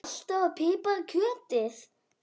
Saltaðu og pipraðu kjötið.